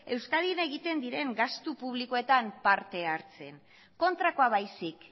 euskadin egiten diren gastu publikoetan parte hartzen kontrakoa baizik